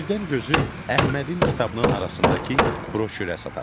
Birdən gözü Əhmədin kitabının arasındakı broşürə sataşdı.